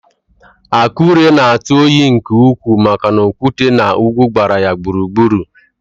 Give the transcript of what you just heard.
Akure na-atụ oyi nke ukwuu maka na okwute na ugwu gbara ya gburugburu